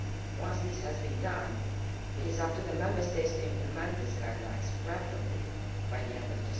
Once this has been done, it will be up to the Member States to implement those guidelines, preferably by the end